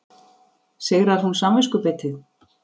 Sigrar hún samviskubitið?